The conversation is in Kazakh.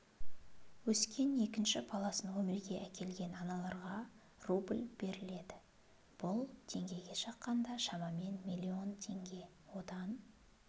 өскен екінші баласын өмірге әкелген аналарға рубль беріледі бұл теңгеге шаққанда шамамен миллион теңге одан